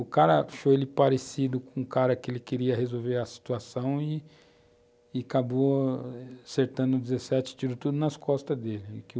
O cara achou ele parecido com o cara que ele queria resolver a situação e acabou acertando 17, tirou tudo nas costas dele.